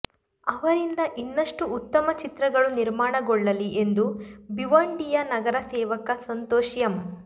ಅವರಿಂದ ಇನ್ನಷ್ಟು ಉತ್ತಮ ಚಿತ್ರಗಳು ನಿರ್ಮಾಣಗೊಳ್ಳಲಿ ಎಂದು ಭಿವಂಡಿಯ ನಗರ ಸೇವಕ ಸಂತೋಷ್ ಎಂ